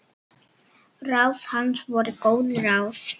Ráð hans voru góð ráð.